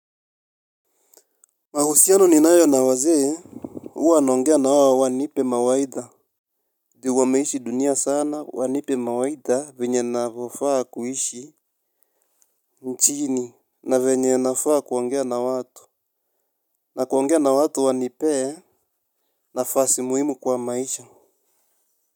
Mahusiano ninayo na wazee huwa naongea nawao wanipe mawaidha juu wameishi dunia sana wanipe mawaidha venye navofaa kuishi nchini na venye nafaa kuongea na watu. Na kuongea na watu wanipee nafasi muhimu kwa maisha.